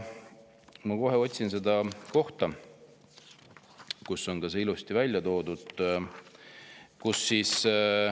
Ma kohe otsin välja selle koha, kus see on ilusti ära toodud.